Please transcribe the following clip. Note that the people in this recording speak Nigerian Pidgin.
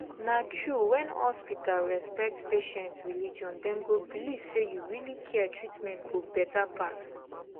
na true when hospital respect patient religion dem go believe say you really care treatment go better pass